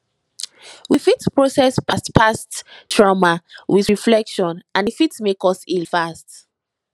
we fit process past past trauma with reflection and e fit make us heal fast